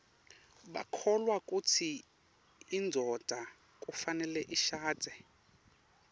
bakholwa kutsi indvodza kufanele ishadze